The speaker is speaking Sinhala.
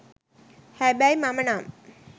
හැබැයි මම නම්